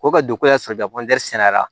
Ko ka don ko y'a sɔrɔ sɛnɛra